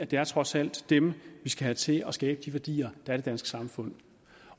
det er trods alt dem vi skal have til at skabe de værdier der i danske samfund